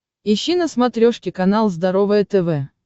ищи на смотрешке канал здоровое тв